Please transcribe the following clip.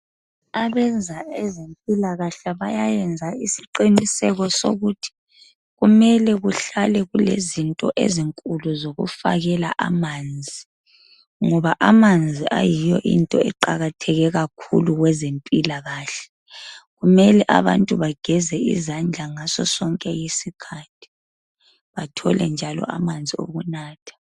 abenza ezempilakahle bayayenza isiqiniseko sokuthi kumele kuhlale kulezinto ezinkulu zokufakela amanzi ngoba amanzi ayiyo into eqakatheke kakhulu kwezempilakahle kumele abantu bageze izandla ngaso sonke iskhathi bathole njalo amanzi okunatha